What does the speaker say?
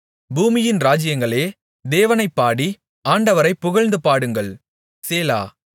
பூமியின் ராஜ்ஜியங்களே தேவனைப் பாடி ஆண்டவரைப் புகழ்ந்துபாடுங்கள் சேலா